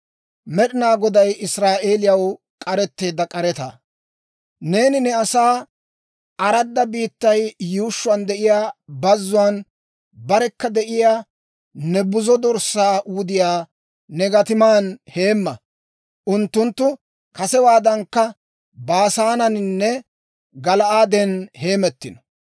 Neeni ne asaa, aradda biittay yuushshuwaan de'iyaa bazzuwaan barekka de'iyaa ne buzo dorssaa wudiyaa ne gatiman heemma. Unttunttu kasewaadankka Baasaaneninne Gala'aaden heemettino.